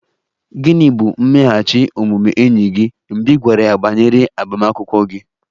Gịnị bụ mmeghachi omume enyi gị mgbe ị gwara ya banyere agbamakwụkwọ gị?